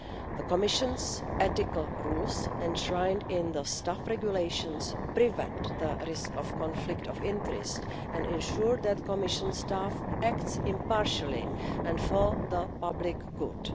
The Commission's ethical rules, enshrined in the Staff Regulations, prevent the risk of conflict of interest and ensure that Commission staff act impartially and for the public good.